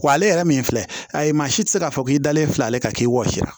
Wa ale yɛrɛ min filɛ a ye maa si tɛ se k'a fɔ k'i dalen filɛ ale kan k'i wɔsi